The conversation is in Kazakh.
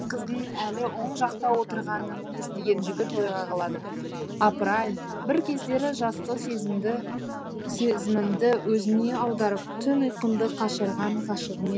қыздың әлі оң жақта отырғанын естіген жігіт ойға қалады апыр ай бір кездері жастық сезімімді өзіне аударып түн ұйқымды қашырған ғашығым